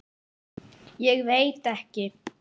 Biskup þagði lengi vel.